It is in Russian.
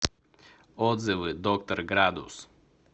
отзывы доктор градус